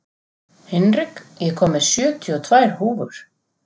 Hinrik, ég kom með sjötíu og tvær húfur!